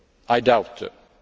I doubt